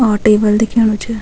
और टेबल दिखेणु च।